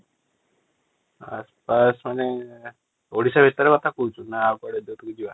ଆସ୍ ପାସ୍ ମାନେ ଓଡିଶା ଭିତର କଥା କହୁଛୁ ନା ଆଉ କୁଆଡେ ଯୋଉଠିକି ଯିବା ।